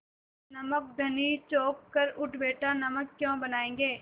नमक धनी चौंक कर उठ बैठा नमक क्यों बनायेंगे